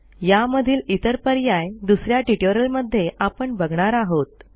यामधील इतर पर्याय दुस या ट्युटोरियलमध्ये आपण बघणार आहोत